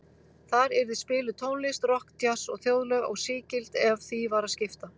Þar yrði spiluð tónlist, rokk, djass og þjóðlög, og sígild ef því var að skipta.